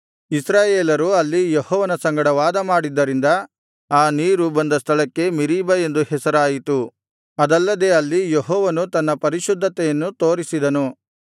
ಇಸ್ರಾಯೇಲರು ಅಲ್ಲಿ ಯೆಹೋವನ ಸಂಗಡ ವಾದಮಾಡಿದ್ದರಿಂದ ಆ ನೀರು ಬಂದ ಸ್ಥಳಕ್ಕೆ ಮೆರೀಬಾ ಎಂದು ಹೆಸರಾಯಿತು ಅದಲ್ಲದೆ ಅಲ್ಲಿ ಯೆಹೋವನು ತನ್ನ ಪರಿಶುದ್ಧತೆಯನ್ನು ತೋರಿಸಿದನು